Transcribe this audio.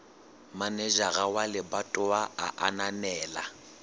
manejara wa lebatowa a ananela